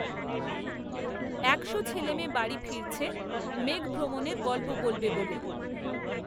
একশো ছেলেমেয়ে বাড়ি ফিরছে, মেঘভ্রমণের গল্প বলবে বলে